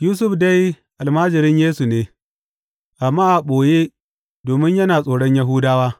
Yusuf dai almajirin Yesu ne, amma a ɓoye domin yana tsoron Yahudawa.